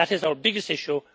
That is our biggest issue